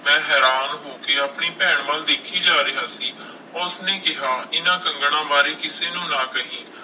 ਮੈਂ ਹੈਰਾਨ ਹੋ ਕੇ ਆਪਣੀ ਭੈਣ ਵੱਲ ਦੇਖੀ ਜਾ ਰਿਹਾ ਸੀ, ਉਸਨੇ ਕਿਹਾ ਇਹਨਾਂ ਕੰਗਣਾਂ ਬਾਰੇ ਕਿਸੇ ਨੂੰ ਨਾ ਕਹੀ।